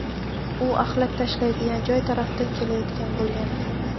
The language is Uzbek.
U axlat tashlaydigan joy tarafdan kelayotgan bo‘lgan.